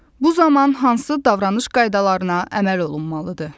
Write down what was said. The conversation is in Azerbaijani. Bu zaman hansı davranış qaydalarına əməl olunmalıdır?